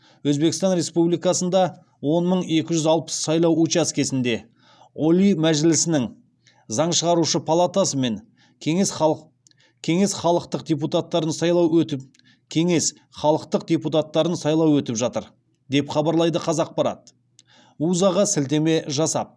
өзбекстан республикасында он мың екі жүз алпыс сайлау учаскесінде олий мәжілісінің заң шығарушы палатасы мен кеңес халықтық депутаттарын сайлау өтіп жатыр деп хабарлайды қазақпарат уза ға сілтеме жасап